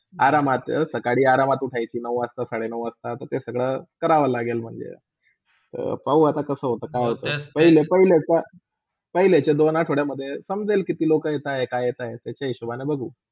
आरामत सकाळी आरामत उठयची नऊ वाजता - साडे नऊ वाजता ते सगळा करावा लागेल म्हणजे, अं पाहू कसा होता काय होत ते पहिले पहिले पहिलेच्या दोन आठवड्यामध्ये समजेल कित्ती लोका येतय काय येताय तश्या हिशोबनी बघू.